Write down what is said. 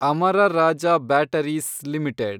Amara Raja batteries limited